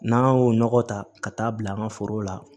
N'an y'o nɔgɔ ta ka taa bila an ka foro la